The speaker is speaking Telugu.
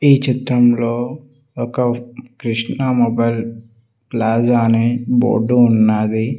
ఈ చిత్రంలో ఒక కృష్ణ మొబైల్ ప్లాజా అనే బోర్డు ఉన్నాది.